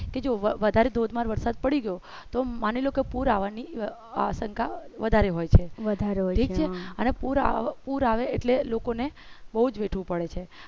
જો વધારે ધોધમાર વરસાદ પડી ગયો તો માની લો કે પૂર આવવાની આસંકા વધારે હોય છે ઠીક છે અને પુર આવે લોકો ને બઉ જ વેઠવું પડે છે